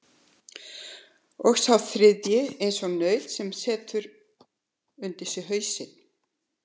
Og sá þriðji eins og naut sem setur undir sig hausinn.